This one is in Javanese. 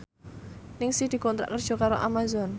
Ningsih dikontrak kerja karo Amazon